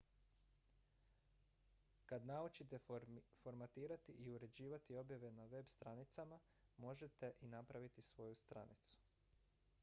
kad naučite formatirati i uređivati objave na web-stranicama možete i napraviti svoju stranicu